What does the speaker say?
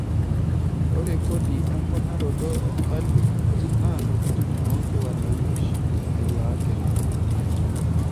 Ore kodi emponaroto e falio naa ntokitin oo nkiwandani ooshi elaakini.